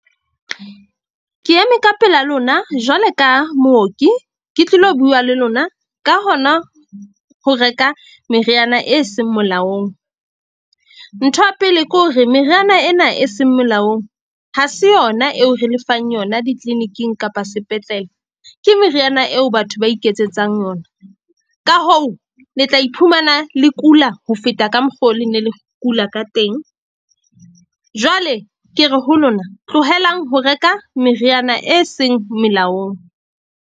Ke eme ka pela lona, jwalo ka mooki, ke tlilo bua le lona ka hona ho reka meriana e seng molaong. Ntho ya pele ke hore meriana ena e seng melaong ha se yona eo re le fang yona di clinic-ing kapa sepetlele. Ke meriana eo batho ba iketsetsang yona. Ka hoo, le tla iphumana le kula ho feta ka mokgo le ne le kula ka teng. Jwale ke re, ho lona tlohelang ho reka meriana e seng melaong.